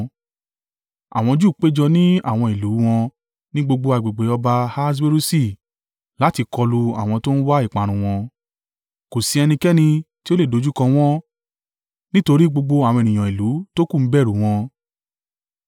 Àwọn Júù péjọ ní àwọn ìlú u wọn ní gbogbo agbègbè ọba Ahaswerusi láti kọlu àwọn tó ń wá ìparun wọn. Kò sí ẹnikẹ́ni tí ó lè dojúkọ wọ́n, nítorí gbogbo àwọn ènìyàn ìlú tókù ń bẹ̀rù u wọn.